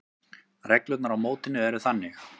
Reglurnar á mótinu eru þannig: